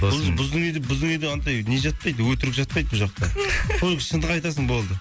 біздің үйде біздің үйде андай не жатпайды өтірік жатпайды бұл жақта только шындық айтасың болды